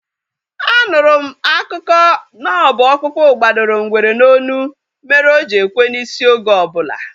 A nụrụ m akụkọ na ọ bụ ọkpụkpu gbadoro ngwere n'olu mere o ji ekwe n'isi oge obula